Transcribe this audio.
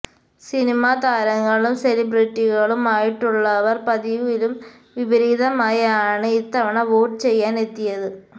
cinema താരങ്ങളും സെലിബ്രിറ്റികളും ആയിട്ടുള്ളവർ പതിവിലും വിപരീതമായി ആണ് ഇത്തവണ വോട്ട് ചെയ്യാൻ എത്തിയത്